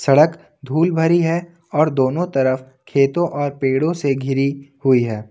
सड़क धुल भरी है और दोनों तरफ खेतों और पेड़ों से घिरी हुई है।